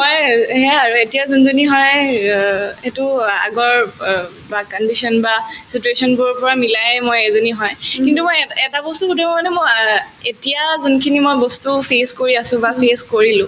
ময়ে আৰু সেয়াই আৰু এতিয়া যোনজনী হয় অ সেটো অ আগৰ অব বা condition বা situation বোৰৰ পৰা মিলায়ে মই এজনী হয় কিন্তু মই এট এটা বস্তু মই অ এতিয়া যোনখিনি মই বস্তু face কৰি আছো বা face কৰিলো